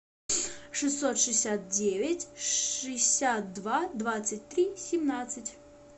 шестьсот шестьдесят девять шестьдесят два двадцать три семнадцать